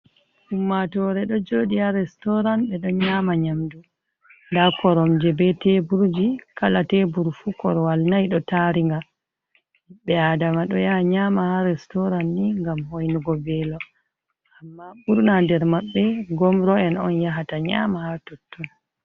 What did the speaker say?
Ummatore do jodi ha restorant be don nyama nyamdu, da korom je be teburji kala teburu fu korwal nai do taringa, bi adama do yaha nyama ha restoran ni ngam hoinugo velo amma burna nder mabbe gomro en on yahata nyama har totton.